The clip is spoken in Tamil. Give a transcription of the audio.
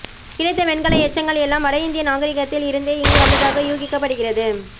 கிடைத்த வெண்கல எச்சங்கள் எல்லாம் வட இந்திய நாகரீகத்தில் இருந்தே இங்கு வந்ததாக யூகிக்கப் படுகிறது